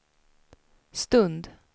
stund